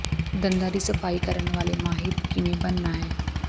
ਦੰਦਾਂ ਦਾ ਸਫ਼ਾਈ ਕਰਨ ਵਾਲੇ ਮਾਹਿਰ ਕਿਵੇਂ ਬਣਨਾ ਹੈ